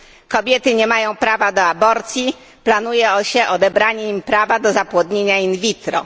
Kobiety nie mają prawa do aborcji, planuje się odebranie im prawa do zapłodnienia in vitro.